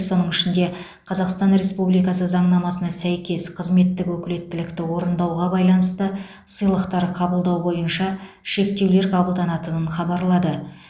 соның ішінде қазақстан республикасы заңнамасына сәйкес қызметтік өкілеттікті орындауға байланысты сыйлықтар қабылдау бойынша шектеулер қабылданатынын хабарлады